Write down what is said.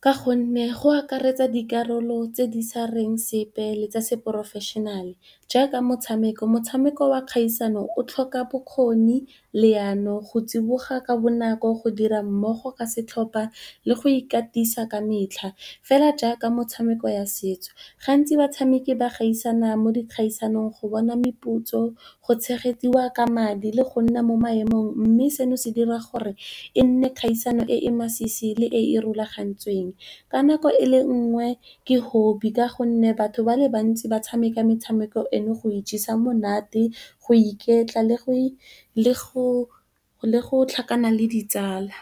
Ka gonne go akaretsa dikarolo tse di sa reng sepe le tsa seprofešenale jaaka, motshameko, motshameko wa kgaisano o tlhoka bokgoni, leano, go tsiboga ka bonako, go dira mmogo ka setlhopa le go ikatisa ka metlha fela jaaka metshameko ya setso. Gantsi batshameki ba gaisana mo dikgaisanong go bona meputso, go tshegediwa ka madi le go nna mo maemong mme, seno se dira gore e nne kgaisano e masisi le e e rulagantsweng ka nako e le nngwe ke hobby ka gonne batho ba le bantsi ba tshameka metshameko eno go ijesa monate, go iketla le go tlhakana le ditsala.